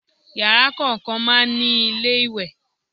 Yàrá kọ̀ọ̀kan máa ń ní ilé ìwẹ̀.